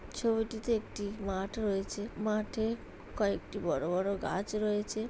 ছবিটিতে একটি মাঠ রয়েছে। মাঠে কয়েকটি বড়ো বড়ো গাছ রয়েছে।